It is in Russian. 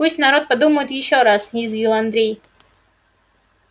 пусть народ подумает ещёе раз язвил андрей